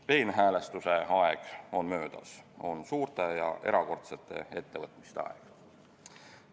Peenhäälestuse aeg on möödas, käes on suurte ja erakordsete ettevõtmiste aeg.